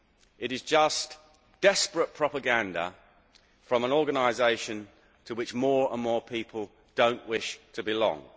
It is just desperate propaganda from an organisation to which more and more people do not wish to belong.